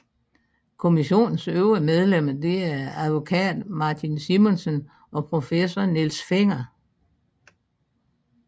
Kommissionens øvrige medlemmer er advokat Martin Simonsen og professor Niels Fenger